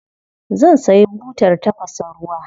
Zan sayi butar tafasa ruwa.